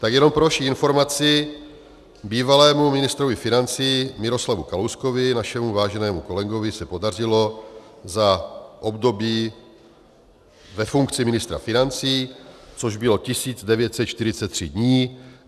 Tak jenom pro vaši informaci, bývalému ministrovi financí Miroslavu Kalouskovi, našemu váženému kolegovi, se podařilo za období ve funkci ministra financí, což bylo 1943 dní, vyrobit dluh 667 miliard korun.